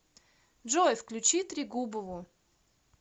джой включи трегубову